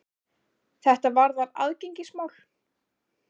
Þetta varðar aðgengismál.